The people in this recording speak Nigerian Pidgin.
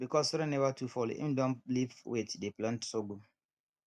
because rain never too fall him don leave wheat dey plant sorghum